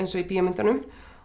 í bíómyndunum